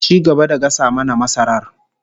Ci gaba da gasa mana masarar